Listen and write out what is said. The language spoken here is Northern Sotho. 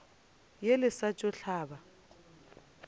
ye le sa tšo hlaba